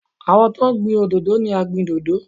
Àwọn tó ń gbin òdòdó ni agbìndòdó.